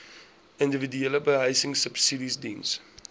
individuele behuisingsubsidies diens